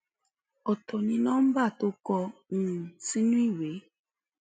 ọtọ ni nomba tó kọ um sínú ìwé